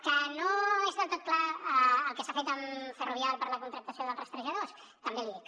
que no és del tot clar el que s’ha fet amb ferrovial per a la contractació dels rastrejadors també l’hi dic